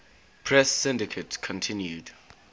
press syndicate continued